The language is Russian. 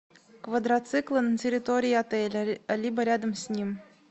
квадроциклы на территории отеля либо рядом с ним